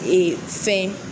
Ee fɛn